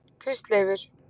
Kristleifur